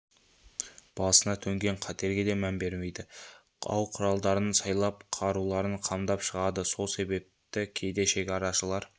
басына төнген қатерге де мән бермейді ау-құралдарын сайлап қаруларын қамдап шығады сол себепті кейде шекарашылар